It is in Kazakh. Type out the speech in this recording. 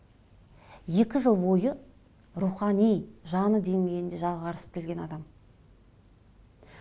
екі жыл бойы рухани жаны деңгейінде жағы қарысып келген адам